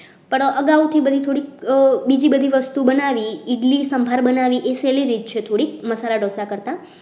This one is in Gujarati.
પણ અગાઉથી થોડીક બીજી બધી વસ્તુ બનાવીએ ઇડલી સંભાર બનાવીએ સહેલી રીત છે થોડીક મસાલા ઢોસા કરતા